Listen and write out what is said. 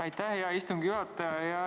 Aitäh, hea istungi juhataja!